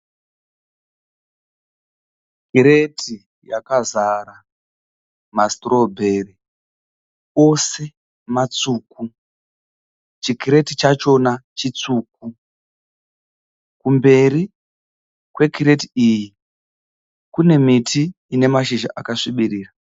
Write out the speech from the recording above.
Kreti yakazara mastrawberry, ose matsvuku chikreti chachona chitsvuku, kumberi kwekreti iyi kune miti ina mashizha akasvibirira.